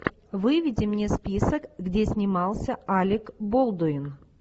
выведи мне список где снимался алек болдуин